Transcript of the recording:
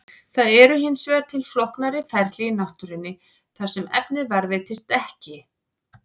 Það eru hins vegar til flóknari ferli í náttúrunni þar sem efnið varðveitist ekki.